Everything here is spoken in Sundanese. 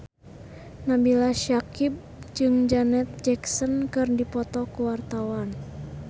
Nabila Syakieb jeung Janet Jackson keur dipoto ku wartawan